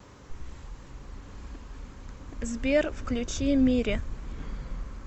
сбер включи мири